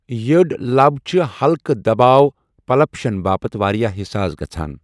یٔڑۍ لَب چھِ ہلکہٕ دباؤ پلپشن باپتھ واریٛاہ حساس گژھَان